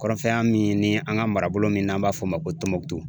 Kɔrɔnfɛ yan min ni an ka marabolo min n'an b'a fɔ o ma ko Tumutu